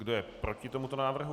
Kdo je proti tomuto návrhu?